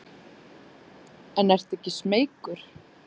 En ertu ekki smeykur?